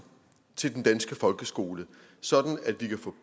til den danske folkeskole sådan at de kan få